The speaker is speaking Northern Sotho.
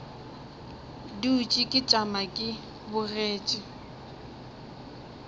dutše ke tšama ke bogetše